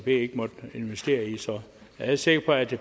ikke måtte investere i jeg er sikker på at